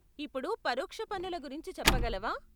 ఇప్పుడు పరోక్ష పన్నుల గురించి చెప్పగలవా?